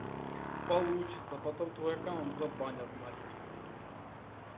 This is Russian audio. получится потом твой аккаунт забанят нахер